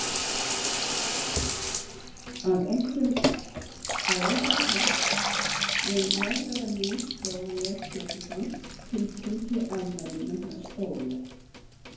. að á einhvern hátt mun nærvera mín Jóhanns Péturssonar tilkynnt í afmælinu hans Óla.